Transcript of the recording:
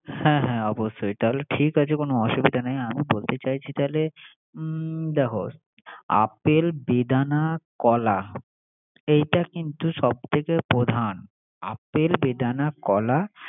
হ্যা হ্যা অবশ্যই। তাহলে ঠিক আছে অসুবিধা নাই আমি বলতে চাইছি তাইলে হু দেখ আপেল, বেদানা কলা এইটা কিন্তু সব থেকে প্রধান। আপেল বেদানা কলা